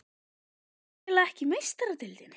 Að spila ekki í Meistaradeildinni?